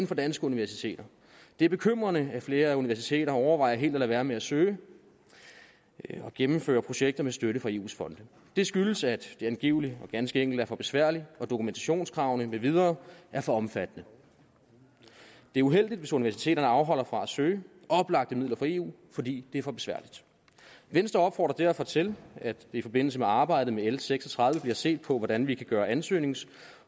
fra danske universiteter det er bekymrende at flere universiteter overvejer helt at lade være med at søge og gennemføre projekter med støtte fra eus fonde det skyldes at det angiveligt og ganske enkelt er for besværligt og at dokumentationskravene med videre er for omfattende det er uheldigt hvis universiteterne afholder sig fra at søge oplagte midler fra eu fordi det er for besværligt venstre opfordrer derfor til at der i forbindelse med arbejdet med l seks og tredive bliver set på hvordan vi kan gøre ansøgnings og